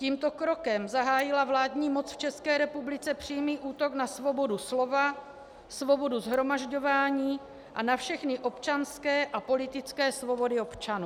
Tímto krokem zahájila vládní moc v České republice přímý útok na svobodu slova, svobodu shromažďování a na všechny občanské a politické svobody občanů.